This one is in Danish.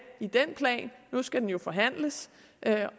i den plan nu skal den jo forhandles